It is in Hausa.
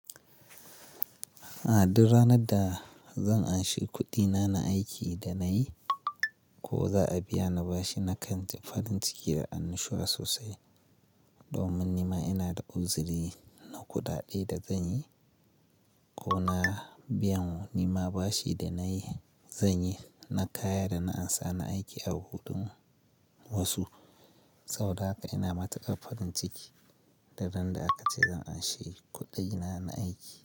A duk ranar da zan anshi kuɗina na aiki da nayi ko za a biya ni bashi na kan ji farin ciki da an nishiwa sosai. Domin nima ina da uzuri na kuɗaɗe da zanyi ko na biyan nima bashi da nayi zanyi na kaya da na ansa na aiki a hudun wasu. Saboda haka ina matukar farinciki da ran da aka ce Zan anshi kuɗina na aiki.